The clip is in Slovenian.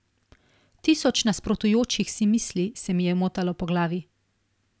Tisoč nasprotujočih si misli se mi je motalo po glavi.